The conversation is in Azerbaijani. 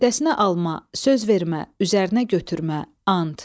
Öhdəsinə alma, söz vermə, üzərinə götürmə, and.